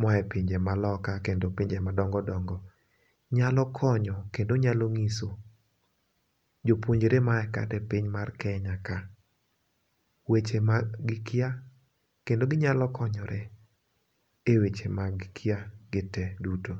moa e pinje maloka kendo pinje madongo dongo, nyalo konyo kendo nyalo ng'iso jopuonjre maa kata e piny mar Kenya ka weche ma gikia kendo ginyalo konyore e weche magikia gite duto.